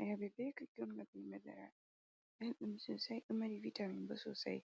Ayabe be kokumba be madara ɓeldum sosai ɗo mari vitamin bo sosai,